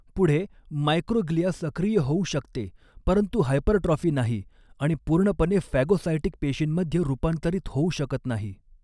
पुढे, मायक्रोग्लिया सक्रिय होऊ शकते परंतु हायपरट्रॉफी नाही, आणि पूर्णपणे फॅगोसाइटिक पेशींमध्ये रूपांतरित होऊ शकत नाही.